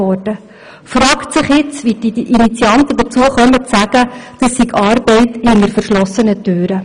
Da fragt es sich, wie die Initianten dazu kommen zu sagen, dies sei Arbeit hinter verschlossenen Türen.